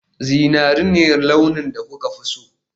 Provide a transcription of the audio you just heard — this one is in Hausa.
Zinari ne launin da kuka fi so